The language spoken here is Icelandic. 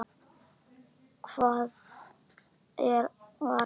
Hvar var það?